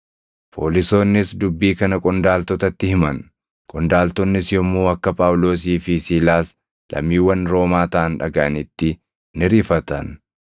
Poolisoonnis dubbii kana qondaaltotatti himan; qondaaltonnis yommuu akka Phaawulosii fi Siilaas lammiiwwan Roomaa taʼan dhagaʼanitti ni rifatan.